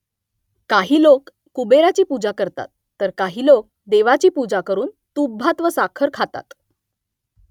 काही लोक कुबेराची पूजा करतात , तर काही लोक देवीची पूजा करून तूपभात व साखर खातात